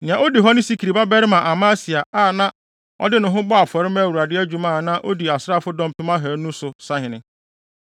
Nea odi hɔ ne Sikri babarima Amasia, a ɔde ne ho bɔɔ afɔre maa Awurade adwuma a na odi asraafodɔm mpem ahannu (200,000) so sahene.